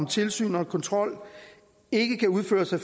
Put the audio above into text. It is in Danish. tilsyn og kontrol ikke kan udføres af